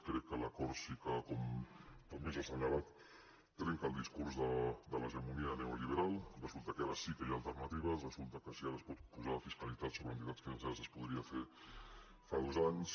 crec que l’acord sí que com també s’ha assenyalat trenca el discurs de l’hegemonia neoliberal resulta que ara sí que hi ha alternatives resulta que si ara es pot posar fiscalitat sobre les entitats financeres es podia fer fa dos anys